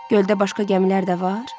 Göldə başqa gəmilər də var?